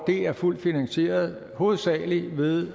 er fuldt finansieret hovedsagelig ved